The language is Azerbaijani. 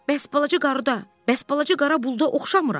Bəs balaca qarı da, bəs balaca qara buluda oxşamıram?